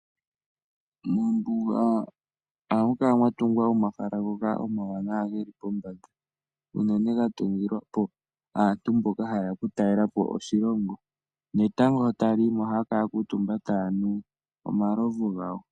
Mombuga ohamu kala mwatungwa omahala ngoka omawanawa geli pombanda , unene ga tungilwapo aantu mboka hayeya oku talelapo oshilongo netango ngele taliyimo ohaya kala ya kuutumba tuyanu omalovu gawo.